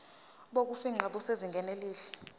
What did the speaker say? bokufingqa busezingeni elihle